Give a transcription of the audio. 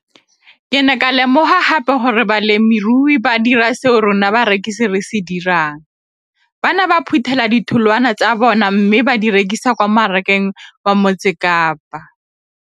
Ke ne ka lemoga gape gore balemirui ba dira seo rona barekisi re se dirang - ba ne ba phuthela ditholwana tsa bona mme ba di rekisa kwa marakeng wa Motsekapa.